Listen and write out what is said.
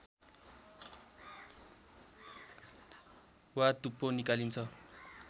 वा टुप्पो निकालिन्छ